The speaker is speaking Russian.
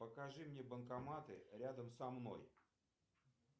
покажи мне банкоматы рядом со мной